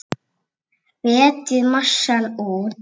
Fletjið massann út.